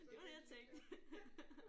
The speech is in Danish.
Det var det jeg tænkte